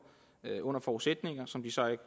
under forudsætninger som de så ikke